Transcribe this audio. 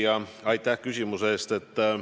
Hea küsija, aitäh küsimuse eest!